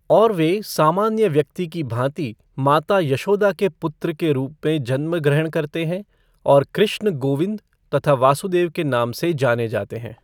और वे सामान्य व्यक्ति की भॉति माता यशोदा के पुत्र के रूप में जन्म ग्रहण करते हैं और कृष्ण गोविंद तथा वासुदेव के नाम में जाने जाते हैं।